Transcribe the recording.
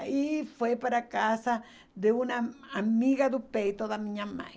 Aí, foi para a casa de uma amiga do peito da minha mãe.